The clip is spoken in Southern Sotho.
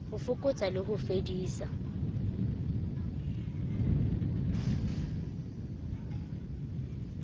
ho fokotsa le ho fedisa